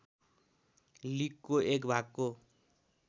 लिगको एक भागको